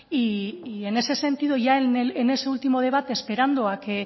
en ese sentido ya en ese último debate esperando a que